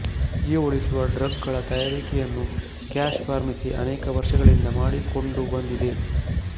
ಜೀವ ಉಳಿಸುವ ಡ್ರಗ್ ಗಳ ತಯಾರಿಕೆಯನ್ನು ಕ್ಯಾಶ್ ಫಾರ್ಮಸಿ ಅನೇಕ ವರ್ಷಗಳಿಂದ ಮಾಡಿಕೊಂದು ಬಂದಿದೆ